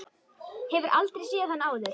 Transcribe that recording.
Hefur aldrei séð hann áður.